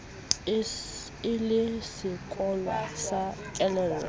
e le sekowa sa kelello